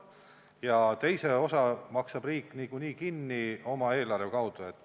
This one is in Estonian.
Ja teise osa maksab riik niikuinii kinni oma eelarve kaudu.